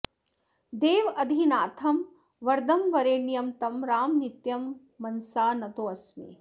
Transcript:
देवाधिनाथं वरदं वरेण्यं तं राम नित्यं मनसा नतोऽस्मि